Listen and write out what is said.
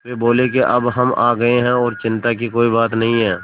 वे बोले कि अब हम आ गए हैं और चिन्ता की कोई बात नहीं है